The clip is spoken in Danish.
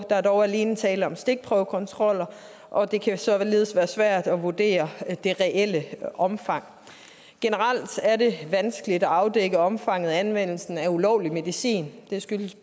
er dog alene tale om stikprøvekontroller og det kan således være svært at vurdere det reelle omfang generelt er det vanskeligt at afdække omfanget af anvendelsen af ulovlig medicin det skyldes